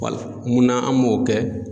wala munna an m'o kɛ